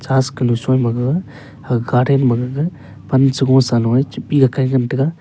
as galo choi ma gaga garden ma gaga pan sa loi chabit ngan taiga.